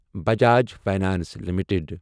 Bajaj finance limited